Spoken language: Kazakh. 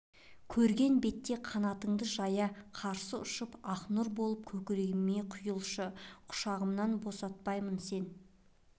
көрген бетте қанатыңды жая қарсы ұшып ақ нұр болып көкірегіме құйылшы құшағымнан босатпаймын сен